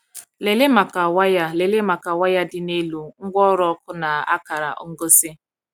Lelee maka waya Lelee maka waya dị n’elu, ngwaọrụ ọkụ, na akara ngosi!